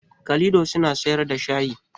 Kalido suna siyar da shayi